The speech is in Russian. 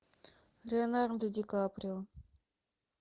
леонардо ди каприо